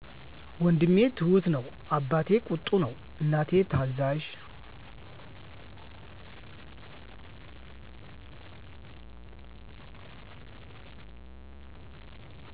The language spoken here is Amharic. ወንድሜ ትሁት ነው አባቴ ቁጡ ነው እናቴ ታዛዥ